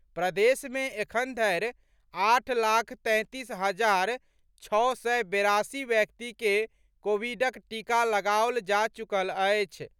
प्रदेश मे एखन धरि आठ लाख तैंतीस हजार छओ सय बेरासी व्यक्ति के कोविडक टीका लगाओल जा चुकल अछि।